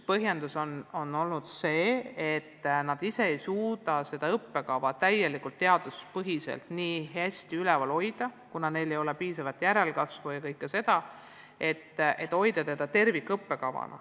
Üks on olnud see, et nad ise ei suuda seda õppekava täielikult ja teaduspõhiselt üleval hoida, kuna neil ei ole piisavalt järelkasvu ja muid ressursse.